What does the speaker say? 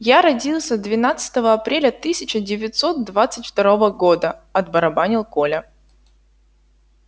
я родился двенадцатого апреля тысяча девятьсот двадцать второго года отбарабанил коля